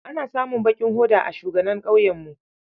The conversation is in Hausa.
Ana samun bakin hoda a shuganan ƙauyenmu.